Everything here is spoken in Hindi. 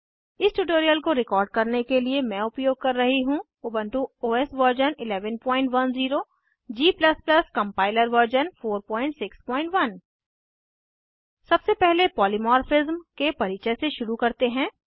इस ट्यूटोरियल को रिकॉर्ड करने के लिए मैं उपयोग कर रही हूँ Ubuntu OS version 1110 g compiler version 461 सबसे पहले पॉलीमॉर्फिज्म के परिचय से शुरू करते हैं